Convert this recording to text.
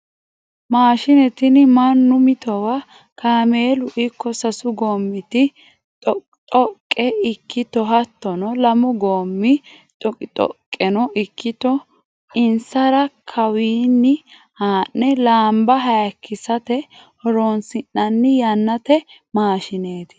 Maashine tinni mannu mitowa kaameelu ikko sasu gomiti xoqoxoqe ikkitto hattono lamu gomi xoqixoqeno ikkitto insara kawinni haa'ne lamba hayikkissate horonsi'nanni yannate maashineti.